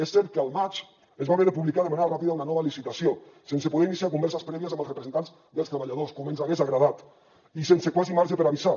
és cert que al maig es va haver de publicar de manera ràpida una nova licitació sense poder iniciar converses prèvies amb els representants dels treballadors com ens hagués agradat i sense quasi marge per avisar